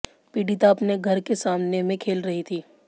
पीड़िता अपने घर के सामने में खेल रही थी